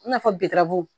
I n'a fɔ biramugu